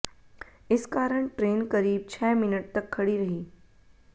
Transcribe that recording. इस कारण ट्रेन करीब छह मिनट तक खड़ी रही